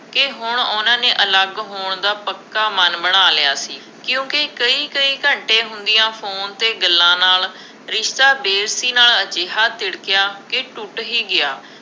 ਕਿ ਹੁਣ ਉਹਨਾ ਨੇ ਅਲੱਗ ਹੋਣ ਦਾ ਪੱਕਾ ਮਨ ਬਣਾ ਲਿਆ ਸੀ, ਕਿਉਂਕਿ ਕਈ ਕਈ ਘੰਟੇ ਹੁੰਦੀਆਂ ਫੋਨ 'ਤੇ ਗੱਲਾਂ ਨਾਲ, ਰਿਸ਼ਤਾ ਨਾਲ ਅਜਿਹਾ ਤਿੜਕਿਆ ਕਿ ਟੁੱਟ ਹੀ ਗਿਆ।